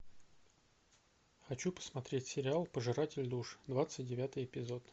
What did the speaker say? хочу посмотреть сериал пожиратель душ двадцать девятый эпизод